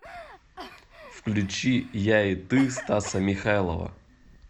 включи я и ты стаса михайлова